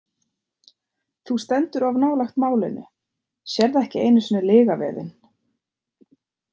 Þú stendur of nálægt málinu, sérð ekki einu sinni lygavefinn.